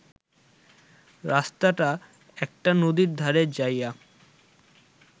রাস্তাটা একটা নদীর ধারে যাইয়া